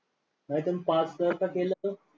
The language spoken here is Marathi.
नाही तर pass जर का केलं तर?